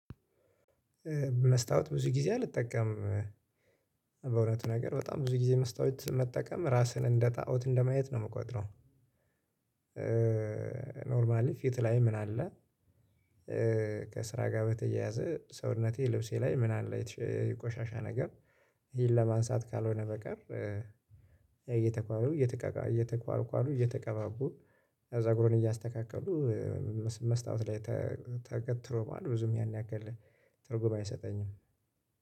መስታወት ብዙ ጊዜ አልጠቀምም በእውነቱ ነገር በጣም ብዙ ጊዜ መስታወት መጠቀም ራስህን እንደጣኦት እንደማየት ነው የምቆጥረው ኖርማሊ ፊት ላይ ምን አለ፣ ከስራ ጋር በተያያዘ ሰውነቴ ልብሴ ላይ ምን አለ የተ ቆሻሻ ነገር ይሄን ለማንሳት ካልሆነ በቀር እየተኳሉ እየተቋቁ እየተኳኳሉ እየተቀባቡ ጸጉርን እያስተካከሉ መስታወት ላይ ተገትሮ መዋል ብዙም ያን ያክል ትርጉም አይሰጠኝም።